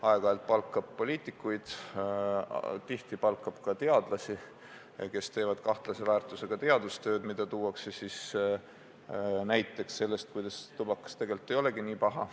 Aeg-ajalt palgatakse poliitikuid ja ka teadlasi, kes teevad kahtlase väärtusega teadustööd, millele viidates väidetakse, et tubakas tegelikult ei olegi nii paha.